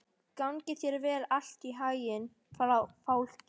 Gangi þér allt í haginn, Fálki.